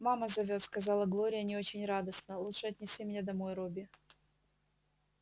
мама зовёт сказала глория не очень радостно лучше отнеси меня домой робби